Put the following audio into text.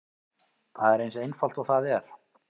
Það er eins einfalt og það er.